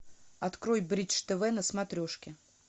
открой бридж тв на смотрешке